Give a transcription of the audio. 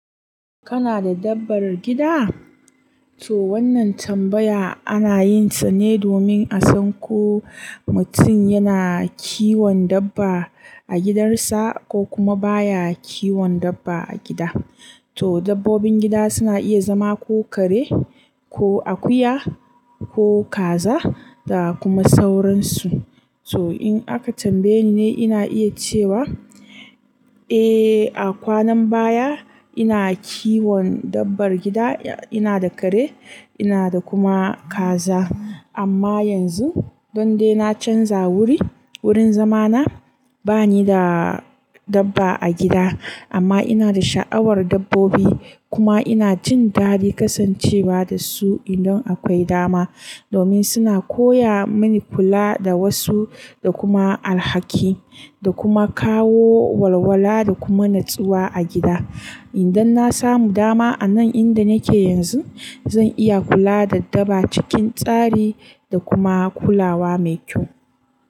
Kana da dabbar gida? To wannan tambaya ana yinsa ne domin a san ko mutum yana kiwon dabba a gidansa ko kuma baya kiwon dabba a gida. To dabbobin gida suna iya zama ko kare, ko akuya, ko kaza da kuma sauransu. To in aka tambaye ni ne ina iya cewa, eh a kwanan baya ina kiwon dabbar gida, ina da kare, ina da kuma kaza. Amma yanzu don dai na canza wuri, wurin zamana bani da dabba a gida. Amma ina da sha'awar dabbobi kuma ina jin dadin kasancewa da su idan akwai dama. Domin suna koya mani kula da wasu da kuma alhaki, da kuma kawo walwala da kuma natsuwa a gida. Idan na samu dama a nan inda nake yanzu zan iya kula da dabba cikin tsari da kuma kulawa mai kyau.